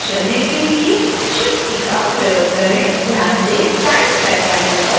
ध्यान दें time track panel पर waypoints बन गए हैं